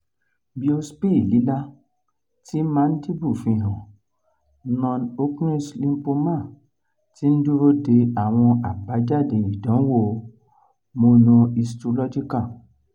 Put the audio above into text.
biopsy lila ti mandible fihan non-hodgkin's lymphoma ti n duro de awọn abajade idanwo mmunohistological